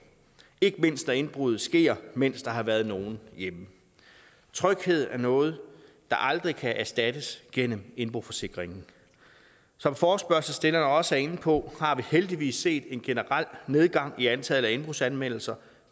ikke mindst når indbruddet sker mens der har været nogen hjemme tryghed er noget der aldrig kan erstattes gennem indboforsikringen som forespørgselsstillerne også er inde på har vi heldigvis set en generel nedgang i antallet af indbrudsanmeldelser